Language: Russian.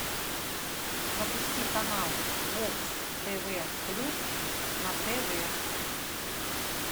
запусти канал бокс тв плюс на тв